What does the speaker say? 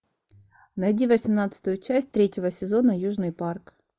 найди восемнадцатую часть третьего сезона южный парк